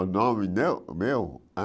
O nome meu meu hã?